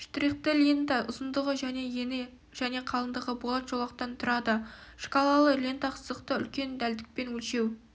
штрихты лента ұзындығы және ені және қалыңдығы болат жолақтан тұрады шкалалы лента сызықты үлкен дәлдікпен өлшеу